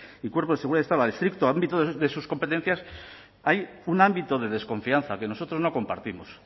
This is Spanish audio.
y cuerpos de seguridad del estado al estricto ámbito de sus competencias hay un ámbito de desconfianza que nosotros no compartimos